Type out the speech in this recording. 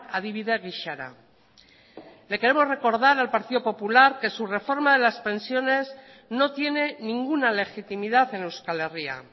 adibide gisara le queremos recordar al partido popular que su reforma de las pensiones no tiene ninguna legitimidad en euskal herria